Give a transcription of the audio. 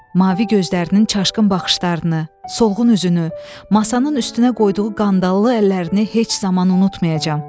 Mavi gözlərinin çaşqın baxışlarını, solğun üzünü, masanın üstünə qoyduğu qandallı əllərini heç zaman unutmayacağam.